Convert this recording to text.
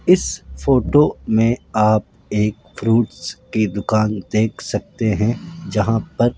इस फोटो में आप एक फ्रूट्स की दुकान देख सकते हैं जहां पर --